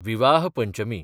विवाह पंचमी